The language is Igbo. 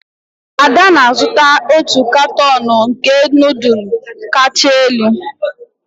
Ada na-azụta otu katuun nke nudulu kacha elu.